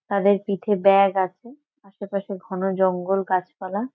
তাদের পিঠে ব্যাগ আছে। আশেপাশে ঘন জঙ্গল গাছপালা।